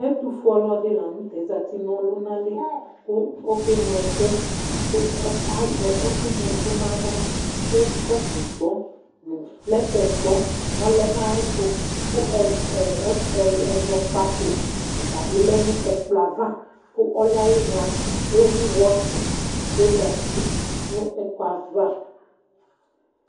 Ɛtufue ɔluɛdi la nu tɛ zati nú ɔluna li ku óke ŋlo ɛku, k'azɛ ɛkuŋloɛku n'aɣla ku kɔpũ gbɔ̃ nu plɛtɛ gbɔ̃ ɔlɛnu ayi ɛtu, ku ɛzɔkpako ɔtabi lɛ nu ɛkplɔɛ ayava, ku ɔluɛ ayila, ewu watchi ku ozati nu ɛkuɛ ayava